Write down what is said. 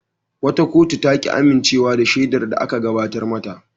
Wata kotu ta ki amincewa da shaidar da aka gabatar mata.